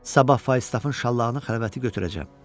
Sabah Fayistafın şallağını xəlvəti götürəcəm.